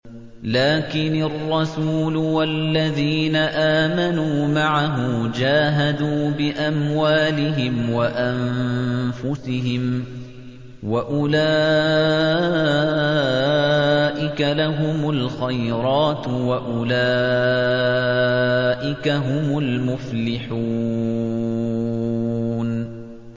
لَٰكِنِ الرَّسُولُ وَالَّذِينَ آمَنُوا مَعَهُ جَاهَدُوا بِأَمْوَالِهِمْ وَأَنفُسِهِمْ ۚ وَأُولَٰئِكَ لَهُمُ الْخَيْرَاتُ ۖ وَأُولَٰئِكَ هُمُ الْمُفْلِحُونَ